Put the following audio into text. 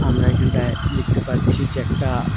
আমরা এইখানটায় দেখতে পারছি যে একটা--